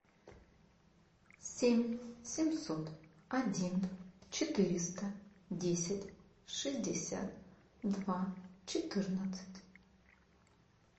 семь семьсот один четыреста десять шестьдесят два четырнадцать